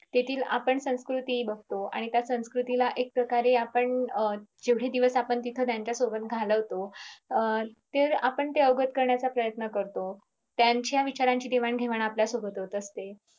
तेथील आपण संकृती बगतो आणि त्या संस्कृतीला एक प्रकारे आपण अं जेवढे दिवस त्यांच्यासोबत घालवतो आपण ते अवगत करण्याचा प्रयन्त करतो त्यांच्या विचारांची देवाणघेवाण आपल्या सोबत होत असते.